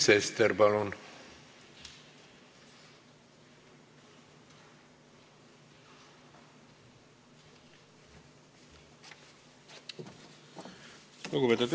Sven Sester, palun!